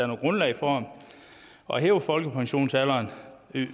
noget grundlag for at hæve folkepensionsalderen